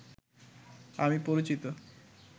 আমি পরিচিত